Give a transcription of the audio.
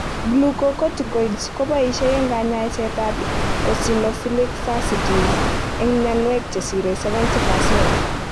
Glucocorticoids ko poishe eng kanyaiset ab eosionophilic fasciitis ang mnyanwek che sirei 70%